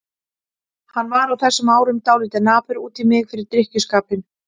Hann var á þessum árum dálítið napur út í mig fyrir drykkjuskapinn.